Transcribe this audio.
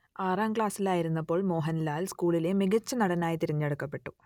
ആറാം ക്ലാസിലായിരുന്നപ്പോൾ മോഹൻലാൽ സ്കൂളിലെ മികച്ച നടനായി തിരഞ്ഞെടുക്കപ്പെട്ടു